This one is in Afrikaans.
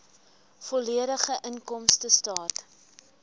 volledige inkomstestaat